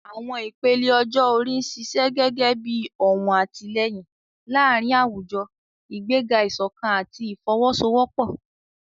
Àwọn ìpele ọjọ́ orí ń ṣiṣẹ́ gẹ́gẹ́ bí ọ̀wọ̀n àtìlẹ́yìn láàárín àwùjọ, ìgbéga ìṣọ̀kan àti ìfọwọ́sowọ́pọ̀.